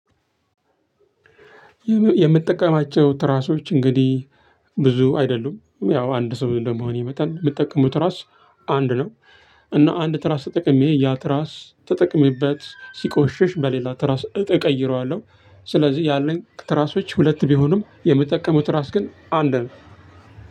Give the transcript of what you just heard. የምትጠቀማቸው ትራሶች እንግዲህ ብዙ አይደሉም ያው አንድ ሰው እንደመሆን መጠን የምትጠቀመው ትራስ አንድ ነው። እና አንድ ትራስ ተጠቅሜ ያ ትራስ ተጠቅሜበት ሲቆሽሽ በሌላ ትራስ እቀይረዋለሁ። ስለዚህ ያለኝ ትራሶች ሁለት ቢሆንም የምጠቀመው ትራስ ግን አንድ ነው።